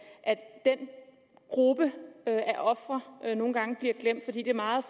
gruppe af ofre nogle gange bliver glemt fordi det meget